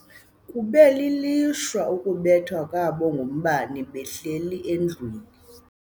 Kube lilishwa ukubethwa kwabo ngumbane behleli endlwini.